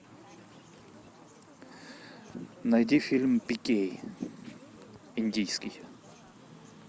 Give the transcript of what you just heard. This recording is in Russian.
найди фильм пикей индийский